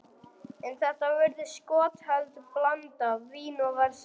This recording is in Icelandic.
En þetta virðist skotheld blanda: vín og verslun.